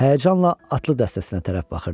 Həyəcanla atlı dəstəsinə tərəf baxırdı.